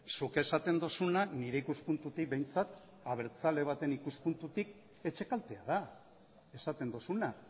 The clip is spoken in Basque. zuk esaten duzuna nire ikuspuntutik behintzat abertzale baten ikuspuntutik etxekaltea da esaten duzuna